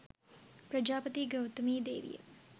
ප්‍රජාපති ගෞතමී දේවිය